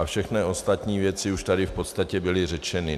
A všechny ostatní věci už tady v podstatě byly řečeny.